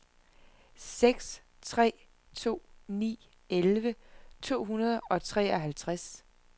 seks tre to ni elleve to hundrede og treoghalvtreds